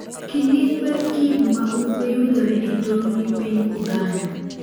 Kidieny mar Kivu ma Ugwe yudore e tong' gi piny Uganda.